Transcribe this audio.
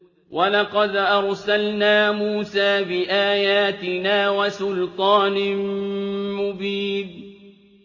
وَلَقَدْ أَرْسَلْنَا مُوسَىٰ بِآيَاتِنَا وَسُلْطَانٍ مُّبِينٍ